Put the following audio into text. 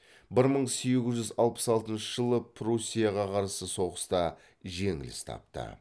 бір мың сегіз жүз алпыс алтыншы жылы пруссияға қарсы соғыста жеңіліс тапты